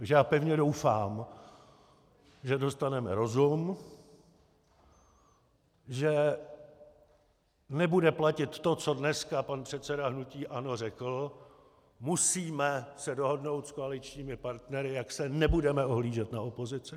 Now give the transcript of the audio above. Takže já pevně doufám, že dostaneme rozum, že nebude platit to, co dneska pan předseda hnutí ANO řekl: musíme se dohodnout s koaličními partnery, jak se nebudeme ohlížet na opozici.